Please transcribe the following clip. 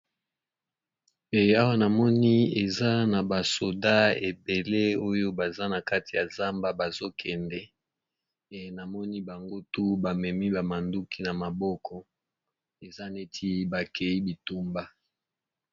Awa namoni eza na basoda ebele oyo baza na kati ya zamba bazokende e namoni bango tu bamemi bamanduki na maboko eza neti bakei bitumba.